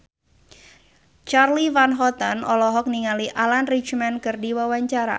Charly Van Houten olohok ningali Alan Rickman keur diwawancara